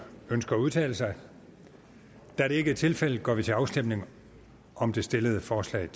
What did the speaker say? ønsker at udtale sig da det ikke er tilfældet går vi til afstemning om det stillede forslag